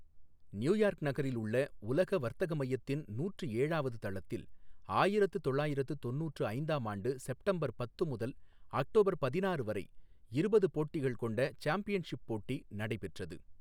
New York நகரில் உள்ள உலக வர்த்தக மையத்தின் நூற்று ஏழாவது தளத்தில் ஆயிரத்து தொள்ளாயிரத்து தொண்ணுற்று ஐந்தாம் ஆண்டு செப்டம்பர் பத்து முதல் அக்டோபர் பதினாறு வரை இருபது போட்டிகள் கொண்ட சாம்பியன்ஷிப் போட்டி நடைபெற்றது.